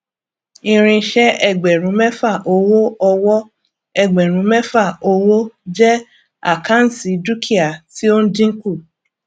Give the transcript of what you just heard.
irinṣẹ ẹgbẹrún mẹfà owó ọwọ ẹgbẹrún mẹfà owó jẹ àkáǹtì dúkìá tí ó ń dínkù